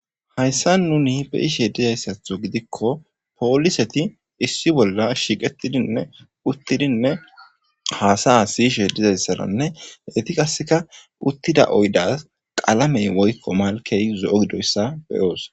Haysa nuni be'ishe dizaysatho gidikko poliseti issi bolla shiqetidinne uttidi hasaya siyishene eti qaseka uttida oydasi qalamey malkey zo'o gididoysa be'os.